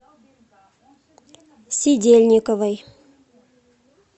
сидельниковой